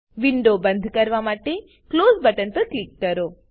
window બંદ કરવા માટે ક્લોઝ બટન પર ક્લિક કરો